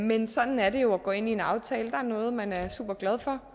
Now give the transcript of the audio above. men sådan er det jo at gå ind i en aftale der er noget man er superglad for